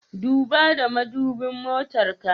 Duba ta madubin motar ka.